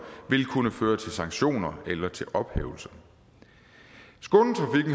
vil kunne føre til sanktioner eller til ophævelse skånetrafikken